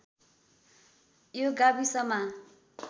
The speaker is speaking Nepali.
यो गाविसमा